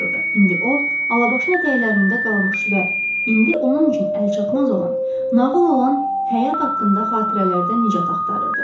İndi o, alabaşına ətəklərində qalmış və indi onun üçün əlçatmaz olan, nağıl olan həyat haqqında xatirələrdə nicat axtarırdı.